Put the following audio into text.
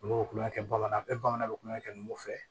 Olu bɛ kulonkɛ kɛ bamanan bɛɛ bamanankan bɛ kulonkɛ kɛ numu fɛ